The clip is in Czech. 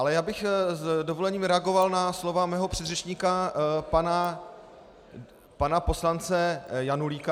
Ale já bych s dovolením reagoval na slova svého předřečníka, pana poslance Janulíka.